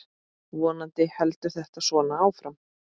Vonandi heldur þetta svona áfram.